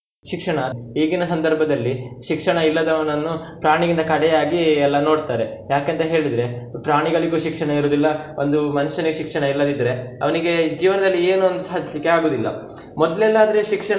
ಶಿಕ್ಷಣ ಈಗಿನ ಸಂದರ್ಭದಲ್ಲಿ ಶಿಕ್ಷಣ ಇಲ್ಲದವನನ್ನು ಪ್ರಾಣಿಗಿಂತ ಕಡೆಯಾಗಿ ಎಲ್ಲ ನೋಡ್ತಾರೆ, ಯಾಕೆಂತ ಹೇಳಿದ್ರೆ ಪ್ರಾಣಿಗಳು ಶಿಕ್ಷಣ ಇರುದಿಲ್ಲ ಒಂದು ಮನುಷ್ಯನಿಗೆ ಶಿಕ್ಷಣ ಇಲ್ಲದಿದ್ರೆ, ಅವ್ನಿಗೆ ಜೀವನದಲ್ಲಿ ಏನೋ ಒಂದು ಸಾಧಿಸ್ಲಿಕ್ಕೆ ಆಗುದಿಲ್ಲ, ಮೊದ್ಲೆಲ್ಲಾದ್ರೆ ಶಿಕ್ಷಣ.